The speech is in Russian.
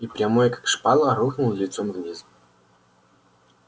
и прямой как шпала рухнул лицом вниз